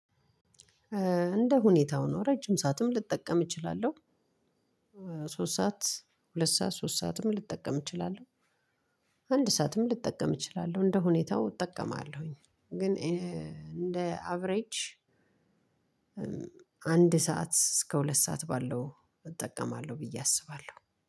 እንደ ሁኔታው ነው ረጅም ሰዓትም ልጠቀም እችላለሁ። ሶስት ሰዓት ሁለት ሰዓት ሶስት ሰዓትም ልጠቀም እችላለሁ። አንድ ሰዓትም ልጠቀም እችላለሁ እንደ ሁኔታው እጠቀማለሁኝ። ግን እንደ አቬሬጅ አንድ ሰዓት እስከ ሁለት ሰዓት ባለው እጠቀማለሁ። ብዬ አስባለሁ